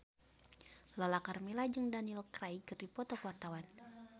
Lala Karmela jeung Daniel Craig keur dipoto ku wartawan